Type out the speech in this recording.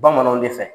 Bamananw de fɛ